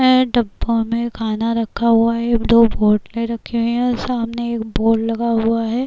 ए डब्बा में खाना रखा हुआ है। दो बोटलें रखी हुई हैं। सामने एक बोर्ड लगा हुआ है।